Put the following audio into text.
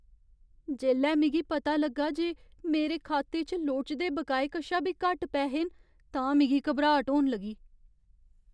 जेल्लै मिगी पता लग्गा जे मेरे खाते च लोड़चदे बकाए कशा बी घट्ट पैहे न तां मिगी घबराट होन लगी।